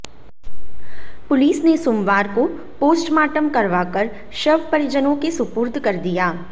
police ने सोमवार को पोस्टमार्टम करवाकर शव परिजनों के सुपुर्द कर दिया